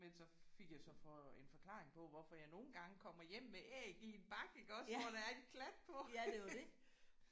Men så fik jeg så for en forklaring på hvorfor jeg nogle gange kommer hjem med æg i en bakke iggås hvor der er en klat på